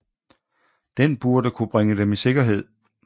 Den burde kunne bringe dem i sikkerhed